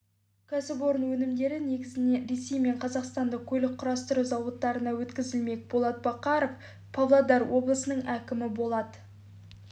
кәсіпорын өнімдері негізінен ресей мен қазақстанның көлік құрастыру зауыттарына өткізілмек болат бақауов павлодар облысының әкімі болат